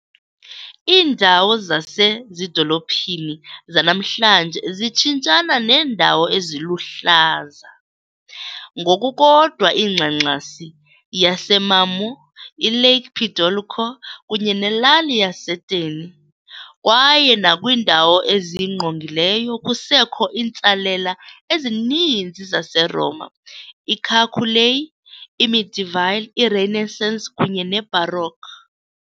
Iindawo zasezidolophini zanamhlanje zitshintshana neendawo eziluhlaza, ngokukodwa ingxangxasi yaseMarmore, iLake Piediluco kunye nelali yaseTerni, kwaye nakwindawo eziyingqongileyo kusekho iintsalela ezininzi zaseRoma, Carsulae , iMedieval, iRenaissance kunye neBaroque.